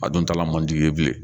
A dun t'a la mandi n ye Bilen